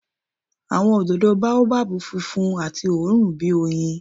Awọn ododo Baobab funfun ati oorun bi oyin.